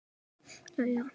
að í syni mínum